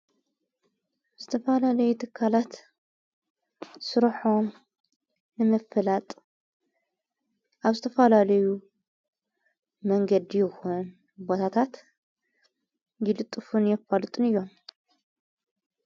ኣብ ዝተፋላለዩ ተካላት ሥራሖም ንምፍላጥ ኣብ ስተፋላለዩ መንገዲ ኹን ቦታታት ይልጥፉን የፋልጡን እዮም።